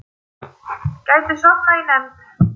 Gæti sofnað í nefnd